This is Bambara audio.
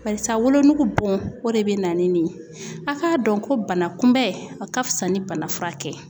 Barisa wolonugu bon o de be na ni nin ye. a' k'a dɔn ko bana kunbɛ a ka fisa ni bana furakɛ.